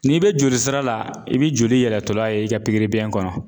N'i bɛ jolisira la i bɛ joli yɛlɛtɔla ye i ka kɔnɔ.